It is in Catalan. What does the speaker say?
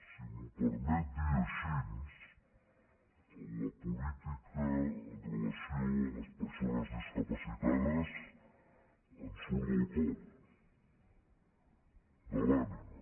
si m’ho permet dir així la política amb relació a les persones discapacitades ens surt del cor de l’ànima